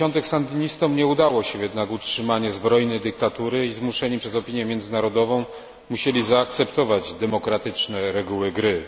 80. sandynistom nie udało się jednak utrzymanie zbrojnej dyktatury i, zmuszeni przez opinię międzynarodową, musieli zaakceptować demokratyczne reguły gry.